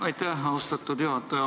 Aitäh, austatud juhataja!